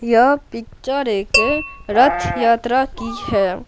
यह पिक्चर एक रथ यात्रा की है।